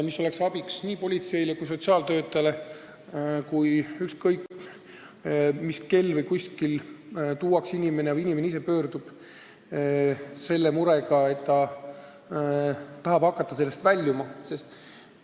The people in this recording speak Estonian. See oleks abiks nii politseinikule kui ka sotsiaaltöötajale, kui ükskõik mis kell kuskil tuuakse kohale inimene või inimene ise pöördub nende poole, sest ta tahab hakata sellest olukorrast väljuma.